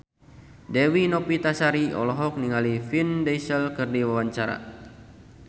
Dewi Novitasari olohok ningali Vin Diesel keur diwawancara